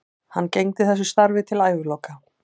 Hann gegndi þessu starfi til æviloka.